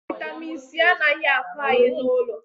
vitamin c anaghị ako Anyị n'ụlọ